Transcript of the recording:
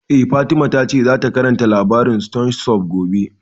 Eh, Fatima ta ce zata karanta labarin stone soup gobe